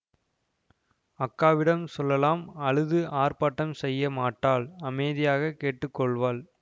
அக்காவிடம் சொல்லலாம் அழுது ஆர்ப்பாட்டம் செய்ய மாட்டாள் அமைதியாகக் கேட்டு கொள்வாள்